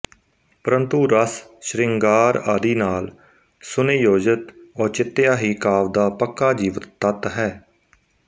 ਪਰੰਤੂ ਰਸ ਸ਼੍ਰਿੰਗਾਰ ਆਦਿ ਨਾਲ ਸੁਨਿਯੋਜਿਤ ਔਚਿਤਯ ਹੀ ਕਾਵਿ ਦਾ ਪੱਕਾ ਜੀਵਿਤ ਤੱਤ ਹੈ